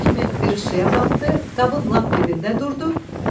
suya düşən kimi birisi suya batdı, qabın lap dibində durdu.